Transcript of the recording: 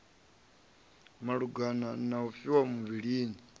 malugana na u vhifha muvhilini